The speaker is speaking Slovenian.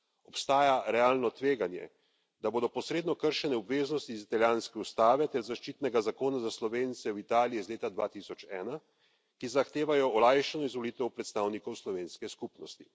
Obstaja realno tveganje, da bodo posredno kršene obveznosti iz italijanske ustave ter zaščitnega zakona za Slovence v Italiji iz leta 2001, ki zahtevajo olajšano izvolitev predstavnikov slovenske skupnosti.